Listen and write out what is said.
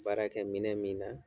Baara kɛ minɛ min na